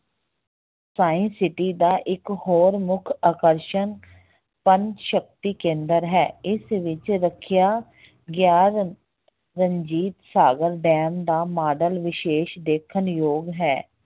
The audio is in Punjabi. science city ਦਾ ਹੋਰ ਇੱਕ ਮੁੱਖ ਆਕਰਸ਼ਣ sun ਸਕਤੀ ਕੇਂਦਰ ਹੈ, ਇਸ ਵਿੱਚ ਰੱਖਿਆ ਗਿਆ ਰਣਜੀਤ ਸਾਗਰ ਡੈਮ ਦਾ ਮਾਡਲ ਵਿਸੇਸ ਦੇਖਣਯੋਗ ਹੈ।